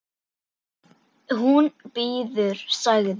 Hún bíður, sagði